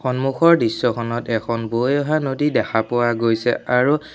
সন্মুখৰ দৃশ্যখনত এখন বৈ অহা নদী দেখা পোৱা গৈছে আৰু--